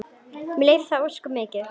Mér leiðist það ósköp mikið.